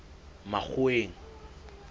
makgoweng